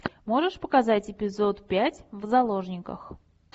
можешь показать эпизод пять в заложниках